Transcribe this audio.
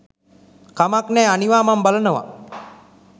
කමක් නෑ අනිවා මම බලනවා